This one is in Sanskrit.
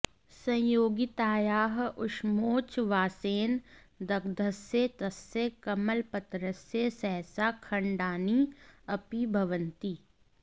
संयोगितायाः ऊष्मोच्छ्वासेन दग्धस्य तस्य कमलपत्रस्य सहसा खण्डानि अपि भवन्ति